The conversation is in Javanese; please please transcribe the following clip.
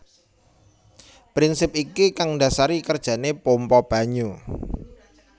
Prinsip iki kang ndasari kerjane pompa banyu